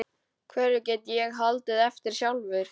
Hverju get ég haldið eftir sjálfur?